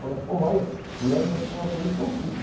Falava, pô, olha, fulano é uma coisa tão simples.